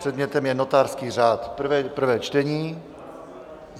Předmětem je notářský řád, prvé čtení.